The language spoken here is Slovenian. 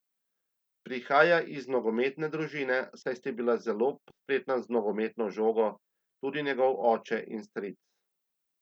Prihaja iz nogometne družine, saj sta bila zelo spretna z nogometno žogo tudi njegov oče in stric.